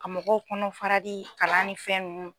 KA mɔgɔw kɔnɔ farali kalan ni fɛn nunnu